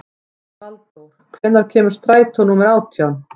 Valdór, hvenær kemur strætó númer átján?